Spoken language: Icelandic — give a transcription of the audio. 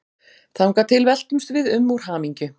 Þangað til veltumst við um úr hamingju.